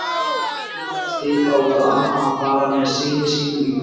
Eftir töluvert hik ákvað amma að fara með syni sínum í bíltúr.